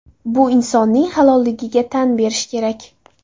Bu insonning halolligiga tan berish kerak.